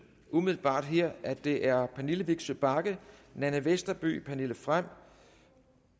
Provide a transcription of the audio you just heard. umiddelbart her at det er pernille vigsø bagge nanna westerby pernille frahm